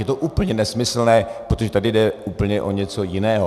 Je to úplně nesmyslné, protože tady jde úplně o něco jiného.